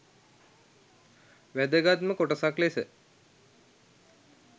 වැදගත්ම කොටසක් ලෙස